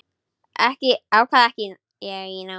Þetta ákvað ég í nótt.